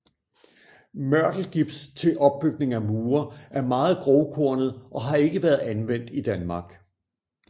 Mørtelgips til opbygning af mure er meget grovkornet og har ikke været anvendt i Danmark